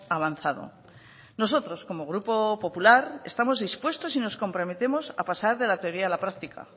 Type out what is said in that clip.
avanzado nosotros como grupo popular estamos dispuestos y nos comprometemos a pasar de la teoría a la práctica